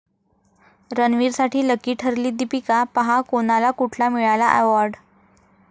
रणवीरसाठी lucky ठरली दीपिका, पहा कोणाला कुठला मिळाला अॅवाॅर्ड?